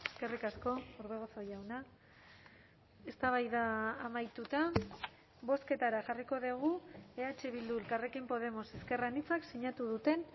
eskerrik asko orbegozo jauna eztabaida amaituta bozketara jarriko dugu eh bildu elkarrekin podemos ezker anitzak sinatu duten